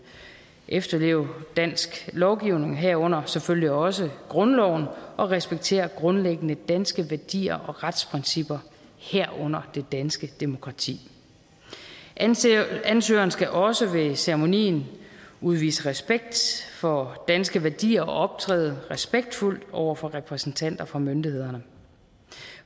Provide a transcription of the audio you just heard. efterleve dansk lovgivning herunder selvfølgelig også grundloven og respektere grundlæggende danske værdier og retsprincipper herunder det danske demokrati ansøgeren skal også ved ceremonien udvise respekt for danske værdier og optræde respektfuldt over for repræsentanter for myndighederne